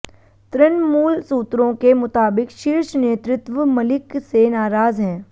तृणमूल सूत्रों के मुताबिक शीर्ष नेतृत्व मलिक से नाराज हैं